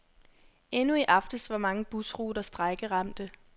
Endnu i aftes var mange busruter strejkeramte.